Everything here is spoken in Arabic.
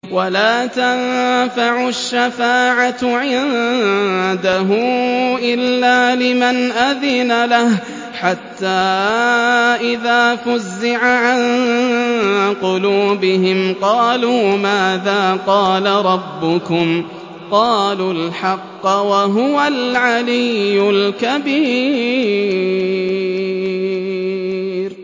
وَلَا تَنفَعُ الشَّفَاعَةُ عِندَهُ إِلَّا لِمَنْ أَذِنَ لَهُ ۚ حَتَّىٰ إِذَا فُزِّعَ عَن قُلُوبِهِمْ قَالُوا مَاذَا قَالَ رَبُّكُمْ ۖ قَالُوا الْحَقَّ ۖ وَهُوَ الْعَلِيُّ الْكَبِيرُ